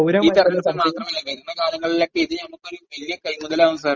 ഈ തെരെഞ്ഞെടുപ്പിൽ മാത്രമല്ല, വരുന്ന കാലങ്ങളിലൊക്കെ ഇത് നമുക്കൊരു വല്യ കൈമുതലാകും സാർ.